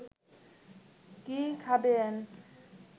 কি খাবেন